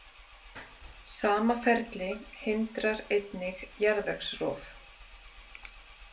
Sama ferli hindrar einnig jarðvegsrof.